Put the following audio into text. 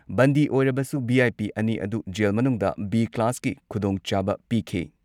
ꯕꯟꯗꯤ ꯑꯣꯏꯔꯕꯁꯨ ꯚꯤ.ꯑꯥꯏ.ꯄꯤ ꯑꯅꯤ ꯑꯗꯨ ꯖꯦꯜ ꯃꯅꯨꯡꯗ ꯕꯤ ꯀ꯭ꯂꯥꯁꯀꯤ ꯈꯨꯗꯣꯡꯆꯥꯕ ꯄꯤꯈꯤ ꯫